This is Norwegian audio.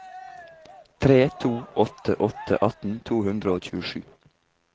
tre to åtte åtte atten to hundre og tjuesju